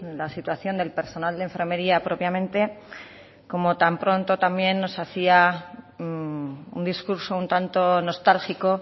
la situación del personal de enfermería propiamente como tan pronto también nos hacia un discurso un tanto nostálgico